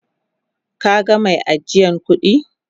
Ka gan mai ajiyan kudi?